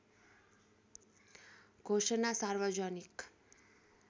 घोषणा सार्वजनिक